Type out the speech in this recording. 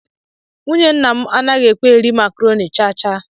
Nwụnye ńnà mụ anaghị ekwe eri macroni chaa chaa.